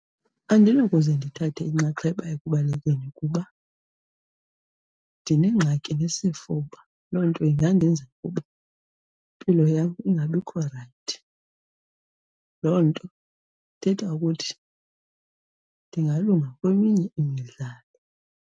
Andinawukuze ndithathe inxaxheba ekubalekeni kuba ndinengxaki nesifuba, loo nto ingandenza ukuba impilo yam ingabikho rayithi. Loo nto ithetha ukuthi ndingalunga kweminye imidlalo.